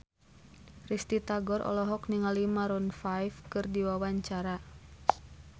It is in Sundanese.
Risty Tagor olohok ningali Maroon 5 keur diwawancara